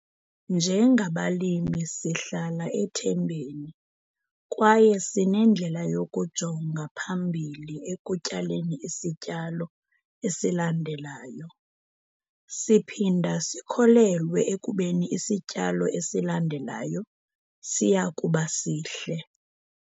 Njengabalimi sihlala ethembeni kwaye sinendlela yokujonga phambili ekutyaleni isityalo esilandelayo. Siphinda sikholelwe ekubeni isityalo esilandelayo siya kuba sihle.